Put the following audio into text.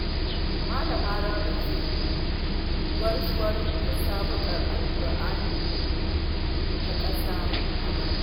Malama Rabi ce gwarzuwar musabaƙar alƙur'ani ta ƙasa a bana.